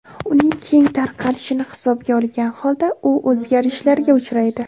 Uning keng tarqalishini hisobga olgan holda u o‘zgarishlarga uchraydi.